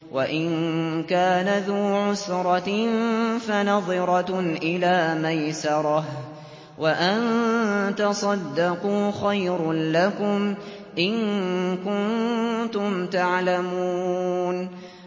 وَإِن كَانَ ذُو عُسْرَةٍ فَنَظِرَةٌ إِلَىٰ مَيْسَرَةٍ ۚ وَأَن تَصَدَّقُوا خَيْرٌ لَّكُمْ ۖ إِن كُنتُمْ تَعْلَمُونَ